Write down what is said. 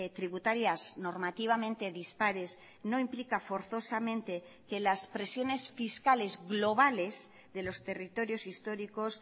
tributarias normativamente dispares no implica forzosamente que las presiones fiscales globales de los territorios históricos